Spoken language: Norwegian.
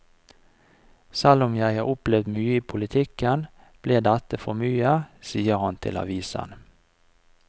Selv om jeg har opplevd mye i politikken, ble dette for mye, sier han til avisen.